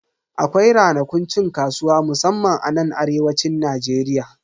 Akwai ranakun cin kasuwa musamman anan arewacin Najeriya.